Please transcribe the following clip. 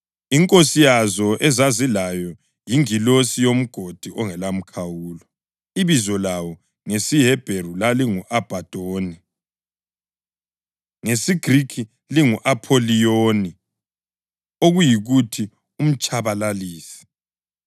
Inkosi yazo ezazilayo yingilosi yoMgodi ongelamkhawulo, ebizo layo ngesiHebheru lalingu-Abhadoni, ngesiGrikhi lingu-Apholiyoni (okuyikuthi, uMtshabalalisi).